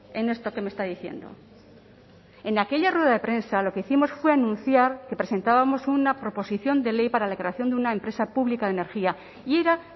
en esto que me está diciendo en aquella rueda de prensa lo que hicimos fue anunciar que presentábamos una proposición de ley para la creación de una empresa pública de energía y era